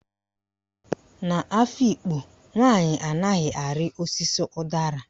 N'Afikpo, nwaanyị anaghị arị osisi ụdara.